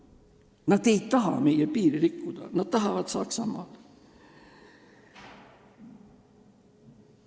Nad ei taha meie piiri rikkuda, nad tahavad minna Saksamaale.